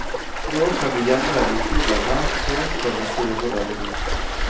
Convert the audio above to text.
Nå kan du gjemme deg i koven her, så får vi se hvordan det går.